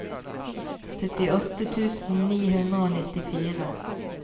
syttiåtte tusen ni hundre og nittifire